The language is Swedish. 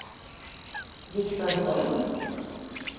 Viktor Holm